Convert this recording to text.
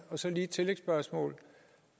så lige et tillægsspørgsmål